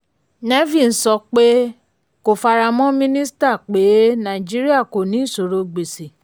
nevin sọ pé kò faramọ́ mínísítà pé nàìjííríà kò ní ìṣòro gbèsè.